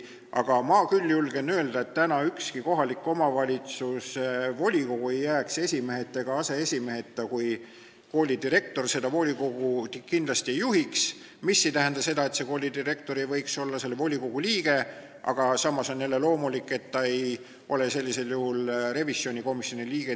Aga ma küll julgen öelda, et ükski kohaliku omavalitsuse volikogu ei jääks esimeheta ega aseesimeheta, kui koolidirektor seda volikogu ei juhi, mis ei tähenda seda, et koolidirektor ei võiks olla volikogu liige, aga samas on jälle loomulik, et ta ei ole sellisel juhul revisjonikomisjoni liige.